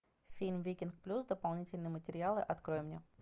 фильм викинг плюс дополнительные материалы открой мне